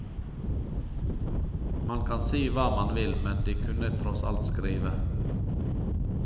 Man kan si hva man vil, men de kunne tross alt skrive.